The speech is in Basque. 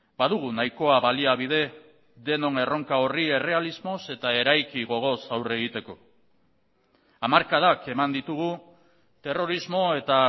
badugu nahikoa baliabide denon erronka horri errealismoz eta eraiki gogoz aurre egiteko hamarkadak eman ditugu terrorismo eta